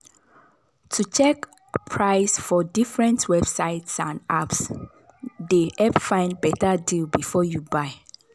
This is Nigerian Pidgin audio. to check price for different websites and apps dey help find better deal before you buy.